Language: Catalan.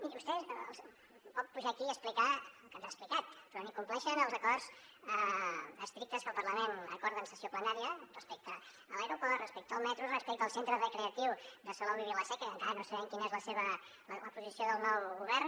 miri vostè pot pujar aquí i explicar el que ens ha explicat però ni compleixen els acords estrictes que el parlament acorda en sessió plenària respecte a l’aeroport respecte al metro respecte al centre recreatiu de salou i vila seca que encara no sabem quina és la posició del nou govern